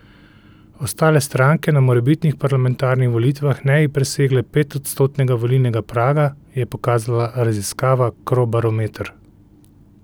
Ostale stranke na morebitnih parlamentarnih volitvah ne bi presegle petodstotnega volilnega praga, je pokazala raziskava Crobarometar.